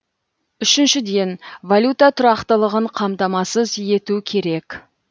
үшіншіден валюта тұрақтылығын қамтамасыз ету керек